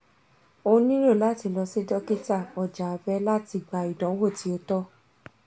o nilo lati lọ si dokita (ọja abẹ) lati gba idanwo ti o tọ